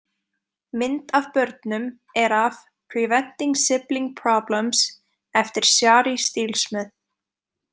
Mynd af börnum er af Preventing Sibling Problems eftir Shari Steelsmith.